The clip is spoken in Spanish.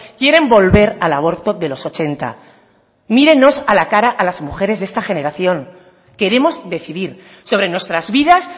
quieren volver al aborto de los ochenta mírenos a la cara a las mujeres de esta generación queremos decidir sobre nuestras vidas